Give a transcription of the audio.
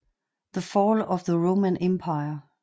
The Fall of the Roman Empire